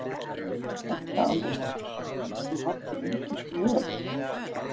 Edda Andrésdóttir: Varst þú hætt á þingi svona í huganum?